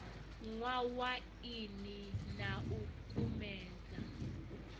nwa waini na u kumedza